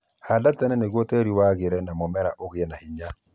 Handa tene nĩguo tĩĩri wagĩre na mũmera ũgĩe hinya